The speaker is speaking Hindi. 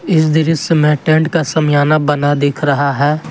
इस दृश्य में टेंट का समियाना बना दिख रहा है।